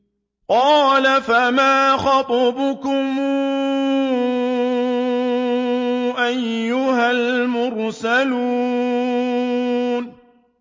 ۞ قَالَ فَمَا خَطْبُكُمْ أَيُّهَا الْمُرْسَلُونَ